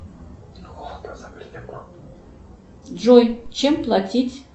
джой чем платить